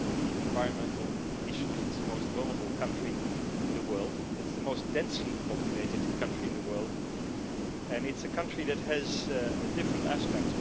in terms of environmental issues it is the most vulnerable country in the world. It is the most densely populated country in the world, and it is a country that has different aspects.